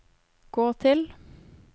gå til